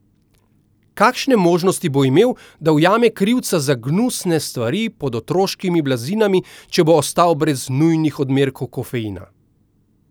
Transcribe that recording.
Kakšne možnosti bo imel, da ujame krivca za gnusne stvari pod otroškimi blazinami, če bo ostal brez nujnih odmerkov kofeina?